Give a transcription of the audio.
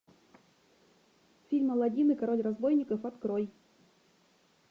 фильм аладдин и король разбойников открой